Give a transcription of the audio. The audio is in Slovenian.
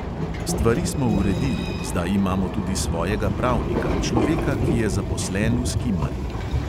Stvari smo uredili, zdaj imamo tudi svojega pravnika, človeka, ki je zaposlen v skimarju.